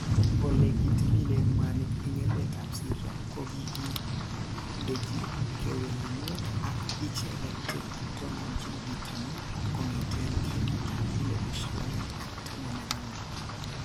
Ole kitililen mwanik en emetab Syria kogikindechi kewelunwek ak icheget che toninchin bitonin kong'eten 2014.